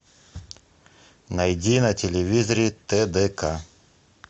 найди на телевизоре тдк